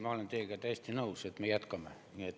Ma olen teiega täiesti nõus, et me jätkame.